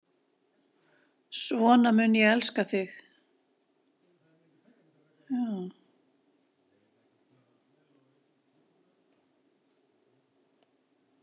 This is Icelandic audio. Svona mun ég elska þig.